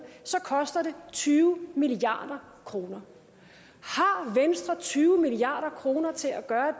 koster det tyve milliard kroner har venstre tyve milliard kroner til at gøre